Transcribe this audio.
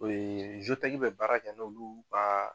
bɛ baara kɛ n'olu ka